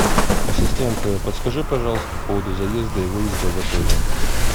ассистент подскажи пожалуйста по поводу заезда и выезда в отеле